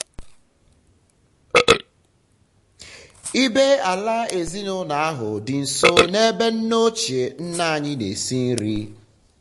ibé-ala ezinaụlọ ahụ dị nso n'ebe nne ochie nne anyị n'esi nri.